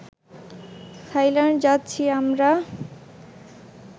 Thailand যাচ্ছি আমরা